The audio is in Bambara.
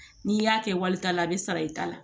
N'i y'a kɛ walita la a bɛ sara i ta la